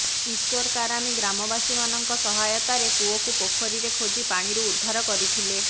ଈଶ୍ୱର କାରାମୀ ଗ୍ରାମବାସୀ ମାନଙ୍କ ସହାୟତାରେ ପୁଅକୁ ପୋଖରୀ ରେ ଖୋଜି ପାଣିରୁ ଉଦ୍ଧାର କରିଥିଲେ